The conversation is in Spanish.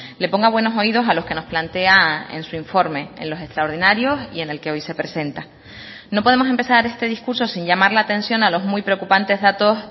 le ponga buenos oídos a los que nos plantea en su informe en los extraordinarios y en el que hoy se presenta no podemos empezar este discurso sin llamar la atención a los muy preocupantes datos